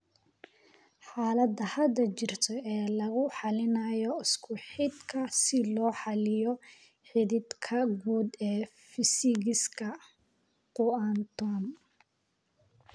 xaalada hadda jirta ee lagu xalinayo isku xidhka si loo xalliyo xidhiidhka guud ee fiisigiska quantum